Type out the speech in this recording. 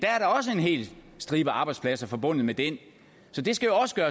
hel stribe arbejdspladser forbundet med den så det skal jo også